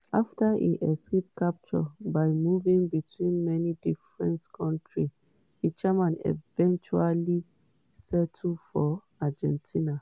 afta im escape capture by moving between many different kontris eichmann eventually settle for argentina.